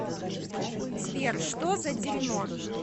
сбер что за дерьмо